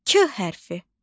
K hərfi.